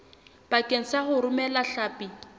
bakeng sa ho romela hlapi